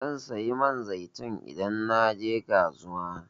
Zan saya man zaitun idan naje kasuwa.